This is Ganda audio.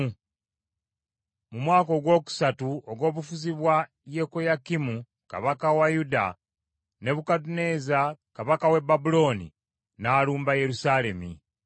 Mu mwaka ogwokusatu ogw’obufuzi bwa Yekoyakimu kabaka wa Yuda, Nebukadduneeza kabaka w’e Babulooni n’alumba Yerusaalemi.